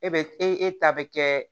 E be e ta bɛ kɛ